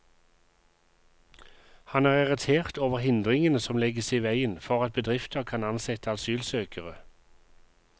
Han er irritert over hindringene som legges i veien for at bedrifter kan ansette asylsøkere.